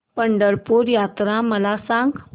पंढरपूर यात्रा मला सांग